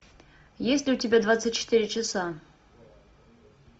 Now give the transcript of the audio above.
есть ли у тебя двадцать четыре часа